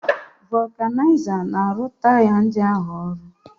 Vulcanizer na-arụ taya ndị ahụ ọrụ